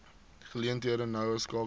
geleenthede noue skakeling